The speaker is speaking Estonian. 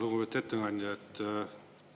Lugupeetud ettekandja!